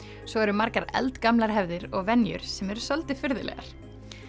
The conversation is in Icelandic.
svo eru margar eldgamlar hefðir og venjur sem eru svolítið furðulegar